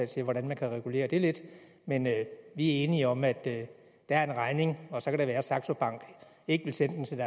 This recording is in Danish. til hvordan man kan regulere det lidt men vi er enige om at der er en regning og så kan det være at saxo bank ikke vil sende den til